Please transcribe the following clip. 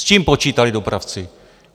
S čím počítali dopravci?